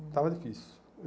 Estava difícil.